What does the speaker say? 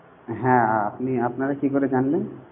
হ্যাঁ, আ আপনি আপনারা কি করে জানলেন?